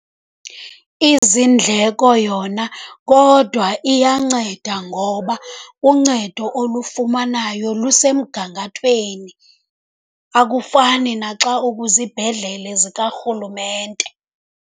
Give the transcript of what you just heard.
Izindleko yona kodwa iyanceda ngoba uncedo olufumanayo lusemgangathweni, akufani naxa ukwizibhedlele zikarhulumente.